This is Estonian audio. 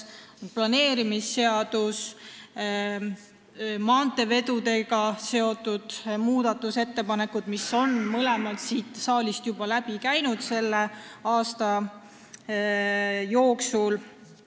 Planeerimisseadus ja maanteevedudega seotud muudatusettepanekud on siit saalist juba selle aasta jooksul läbi käinud.